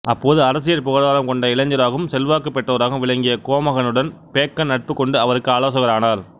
அப்போது அரசியல் புகழார்வம் கொண்ட இளைஞராகவும் செல்வாக்குப் பெற்றவராகவும் விளங்கிய கோமகனுடன் பேக்கன் நட்புக் கொண்டு அவருக்கு ஆலோசகரானார்